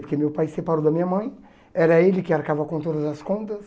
Porque meu pai separou da minha mãe, era ele que arcava com todas as contas.